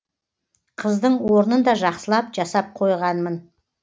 қыздың орнын да жақсылап жасап қойғанмын